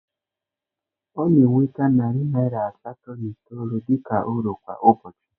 Ọ na-enweta narị naịra asatọ na itoolu dị ka uru kwa ụbọchị